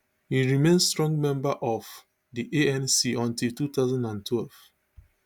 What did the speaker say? e remain strong member of di anc until two thousand and twelve